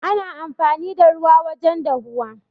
Ana amfani da ruwa wajen dahuwa.